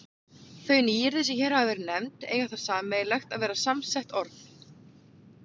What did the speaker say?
Þau nýyrði, sem hér hafa verið nefnd, eiga það sameiginlegt að vera samsett orð.